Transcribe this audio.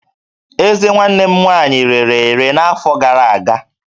Ezé nwanne m nwaanyị rere ere n'afọ gara aga